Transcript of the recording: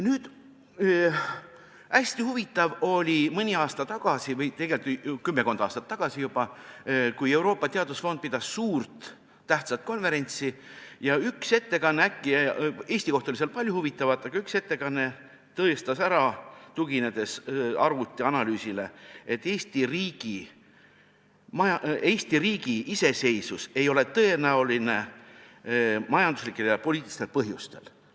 Nüüd, hästi huvitav oli mõni aasta tagasi või tegelikult juba kümmekond aastat tagasi Euroopa Teadusfondi korraldatud suur tähtis konverents, kus üks Eestit puudutav ettekanne – Eesti kohta oli seal palju huvitavat – tõestas arvutianalüüsile tuginedes ära, et Eesti riigi iseseisvus ei ole majanduslikel ja poliitilistel põhjustel tõenäoline.